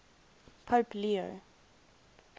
pope leo